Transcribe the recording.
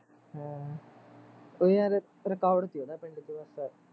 ਹਮ ਉਹਦਾ ਨਾ record ਸੀ ਉਹਦਾ ਪਿੰਡ ਚ ਬਸ